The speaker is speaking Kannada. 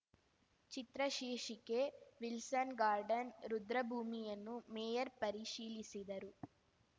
ಚಿತ್ರ ಶೀರ್ಷಿಕೆ ವಿಲ್ಸನ್‌ ಗಾರ್ಡನ್‌ ರುದ್ರಭೂಮಿಯನ್ನು ಮೇಯರ್ ಪರಿಶೀಲಿಸಿದರು